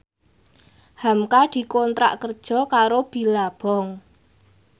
hamka dikontrak kerja karo Billabong